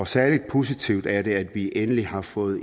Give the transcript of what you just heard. særlig positivt er det at vi endelig har fået